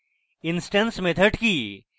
instance methods কি